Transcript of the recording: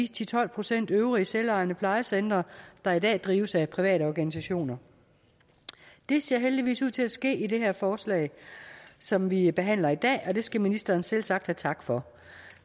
til tolv procent øvrige selvejende plejecentre der i dag drives af private organisationer det ser heldigvis ud til at ske i det her forslag som vi behandler i dag og det skal ministeren selvsagt have tak for